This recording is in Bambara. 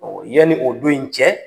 yani o don in cɛ